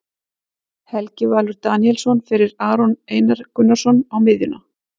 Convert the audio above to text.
Helgi Valur Daníelsson fyrir Aron Einar Gunnarsson á miðjuna.